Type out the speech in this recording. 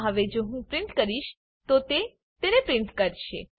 આમાં હવે જો હું પ્રીંટ કહીશ તો તે તેને પ્રીંટ કરશે